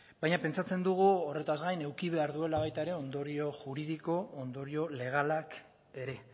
baina pentsatzen dugu horretaz gain eduki behar duela baita ere ondorio juridiko ondorio legalak ere